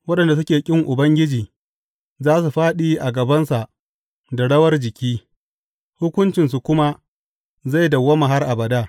Waɗanda suke ƙin Ubangiji za su fāɗi a gabansa da rawar jiki, hukuncinsu kuma zai dawwama har abada.